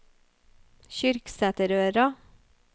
Kyrksæterøra